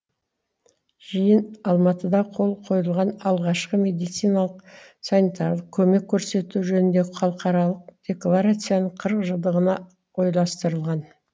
жиын алматыда қол қойылған алғашқы медициналық санитарлық көмек көрсету жөніндегі халықаралық декларацияның қырық жылдығына орайластырылған